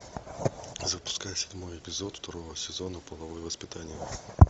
запускай седьмой эпизод второго сезона половое воспитание